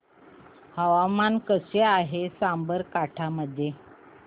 हवामान कसे आहे साबरकांठा मध्ये